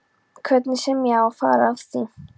Hvernig sem á að fara að því.